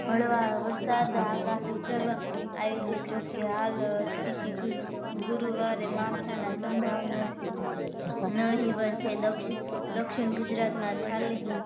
હળવા વરસાદ આગાહી કરવામાં આવી છે જો કે હાલ સ્થીતી ગુરૂવારે માવઠા ના સંભાવના નહીવત છે દક્ષિણ દક્ષિણ ગુજરાતમાં ચાલીસ